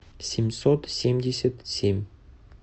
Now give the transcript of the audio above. семьсот семьдесят семь